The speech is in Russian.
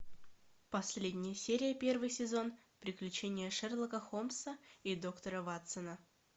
последняя серия первый сезон приключения шерлока холмса и доктора ватсона